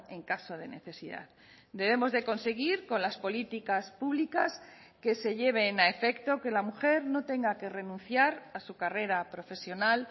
en caso de necesidad debemos de conseguir con las políticas públicas que se lleven a efecto que la mujer no tenga que renunciar a su carrera profesional